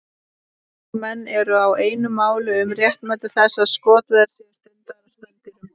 En vísindamenn eru ekki einu máli um réttmæti þess að skotveiðar séu stundaðar á spendýrum.